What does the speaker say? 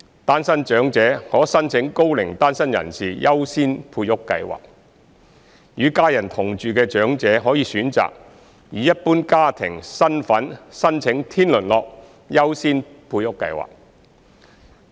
單身長者可申請高齡單身人士優先配屋計劃；與家人同住的長者可選擇以一般家庭身份申請天倫樂優先配屋計劃。